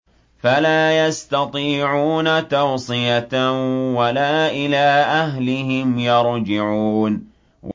فَلَا يَسْتَطِيعُونَ تَوْصِيَةً وَلَا إِلَىٰ أَهْلِهِمْ يَرْجِعُونَ